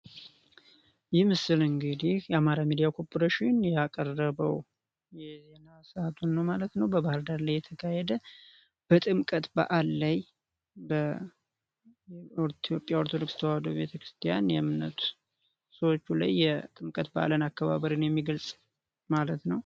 ይህ ምስል እንግዲህ የአማራ ሚዲያ ኮርፖሬሽን ያቀረበው የዜና ሰዓቱ ነው ማለት ነው ባህር ዳር ላይ የተካሄደ በጥምቀት በዓል ላይ ኦርቶዶክስ ተዋህዶ ቤተክርስቲያን የእምነት ሰዎች የጥምቀት በዓልን አከባበር የሚገልጽ ማለት ነው።